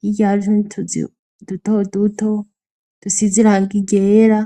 hirya hari n'utundi tuzu duto duto dusize irangi ryera.